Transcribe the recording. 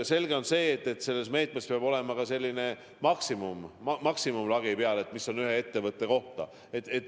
Selge on see, et selle meetme korral peab olema määratud maksimumlagi: mis on maksimum ühe ettevõtte kohta.